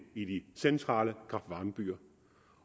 i de centrale kraft varme byer